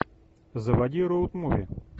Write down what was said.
заводи роуд муви